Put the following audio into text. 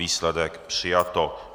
Výsledek - přijato.